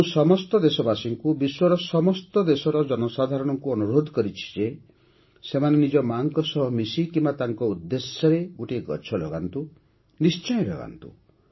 ମୁଁ ସମସ୍ତ ଦେଶବାସୀଙ୍କୁ ବିଶ୍ୱର ସମସ୍ତ ଦେଶର ଜନସାଧାରଣଙ୍କୁ ଅନୁରୋଧ କରିଛି ଯେ ସେମାନେ ନିଜ ମା'ଙ୍କ ସହ ମିଶି କିମ୍ବା ତାଙ୍କ ଉଦ୍ଦେଶ୍ୟରେ ଗୋଟିଏ ଗଛ ନିଶ୍ଚୟ ଲଗାନ୍ତୁ